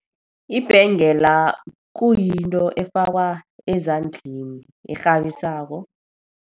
Ibhengela kuyinto efakwa ezandleni, ekghabisako.